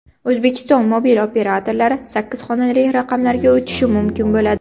O‘zbekiston mobil operatorlari sakkiz xonali raqamlarga o‘tishi mumkin bo‘ladi.